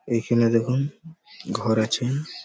এই খানে দেখুন ঘর আছে।